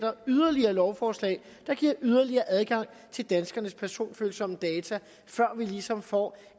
yderligere lovforslag der giver yderligere adgang til danskernes personfølsomme data før vi ligesom får